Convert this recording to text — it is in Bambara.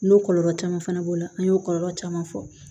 N'o kɔlɔlɔ caman fana b'o la an y'o kɔlɔlɔ caman fɔ